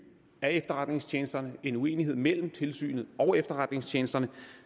af efterretningstjenesterne en uenighed mellem tilsynet og efterretningstjenesterne